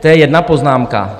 To je jedna poznámka.